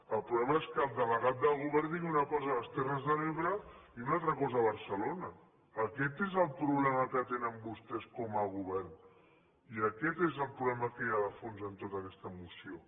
el problema és que el delegat del govern digui una cosa a les terres de l’ebre i una altra cosa a barcelona aquest és el problema que tenen vostès com a govern i aquest és el problema que hi ha de fons en tota aquesta moció